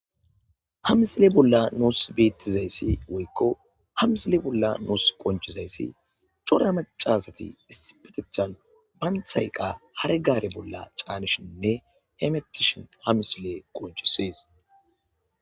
ha misile bolla nuus bettizayssi woykko hamisile bolla nuus qonchizayssi cora macasati issipetethan banthayqa haregaare bolla caanishinne hemetishin hamisile qonchisees